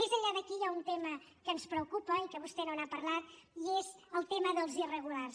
més enllà d’aquí hi ha un tema que ens preocupa i que vostè no n’ha parlat i és el tema dels irregulars